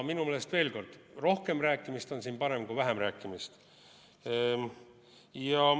Minu meelest, veel kord: rohkem rääkimist on siin parem kui vähem rääkimist.